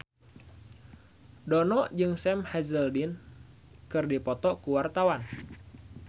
Dono jeung Sam Hazeldine keur dipoto ku wartawan